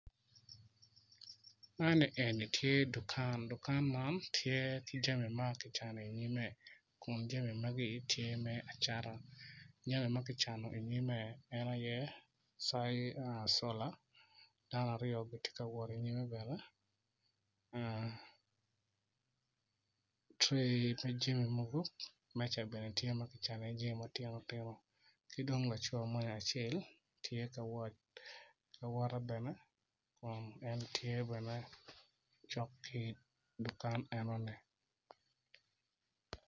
Man eni tye dukan dukan eni tye ki jami ma toi dok bongi man tye bongi gomci ki latere ma kitweyo i kome med ki koti ma kiruku ki kanyu kacelkun tye bene cok ki dukan enoni bene.